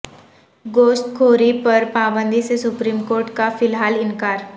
گوشت خوری پر پابندی سے سپریم کورٹ کا فی الحال انکار